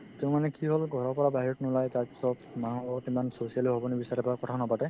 তেওঁ মানে কি হ'ল ঘৰৰ পৰা বাহিৰত নোলাই তাৰপিছত মানুহৰ লগত ইমান socially ও হ'ব নিবিচাৰে বা কথাও নাপাতে